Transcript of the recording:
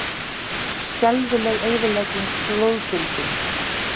Skelfileg eyðilegging flóðbylgjunnar